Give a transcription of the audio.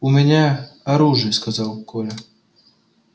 у меня оружие сказал коля